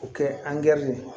O kɛ ye